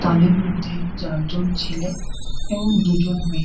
তাদের মধ্যে চারজন ছেলে এবং দুজন মেয়ে।